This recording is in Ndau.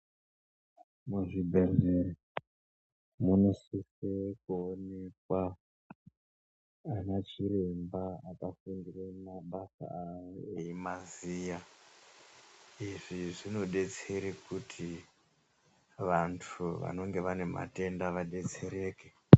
Muzvibhehlera munosise kuonekwa ana chiremba akafundire mabasa awo eimaziya. Izvi zvinodetsera kuti vantu vanenge vane matenda vadetsereke.